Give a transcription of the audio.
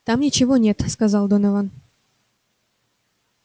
там ничего нет сказал донован